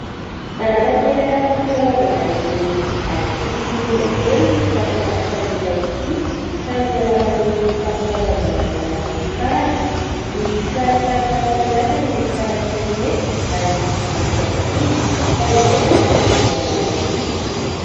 Nanatanteraka fampilalaovana ireo ankizy sy kilongakely ity mpampianatra iray ity, tamin'ny alalan'ny fampilalaovana amin'ny alalan'ny karatra. Misy kisarisary maro samy hafa ireto karatra ireto ary hampiadiana ka izay maharesy dia mahazo loka.